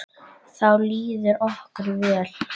Þá líður okkur vel.